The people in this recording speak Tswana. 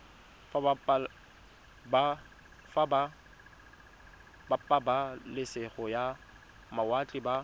ba pabalesego ya mawatle ba